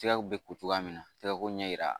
Tigako bɛ ko cogoya min na tɛgɛko ɲɛ yira